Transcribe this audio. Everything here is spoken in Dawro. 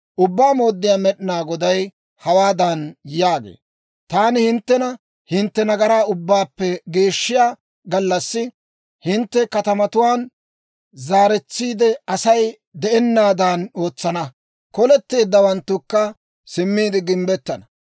« ‹Ubbaa Mooddiyaa Med'inaa Goday hawaadan yaagee; «Taani hinttena hintte nagaraa ubbaappe geeshshiyaa gallassi, hintte katamatuwaan zaaretsiide Asay de'anaadan ootsana; koletteeddawanttukka simmiide gimbbettana.